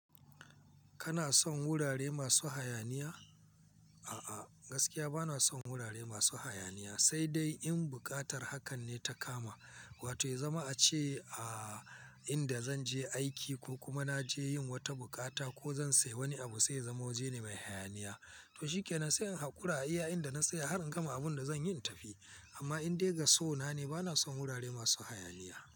Kana son wurare masu hayaniya? A'a, gaskiya ba na son wurare masu hayaniya, sai dai in buƙatar hakan ne ta kama, wato ya zama a ce a inda zan je aiki ko kuma na je yin wata bukata ko zan sayi wani abu sai ya zama waje ne mai hayaniya. To shikenan, sai in haƙura a iya inda na tsaya har in gama abun da zan yi in tafi. Amma in dai ga so na ne, ba na son wurare masu hayaniya.